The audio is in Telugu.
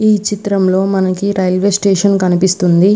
ఈ చిత్రంలో మనకు రైల్వే స్టేషన్ కనిపిస్తుంది.